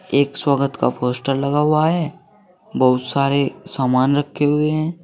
एक स्वागत का पोस्टर लगा हुआ है बहुत सारे सामान रखे हुए हैं।